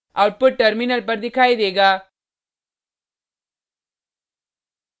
output terminal पर दिखाई देगा